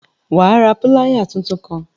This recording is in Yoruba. Wà ra piláyà títún kàn!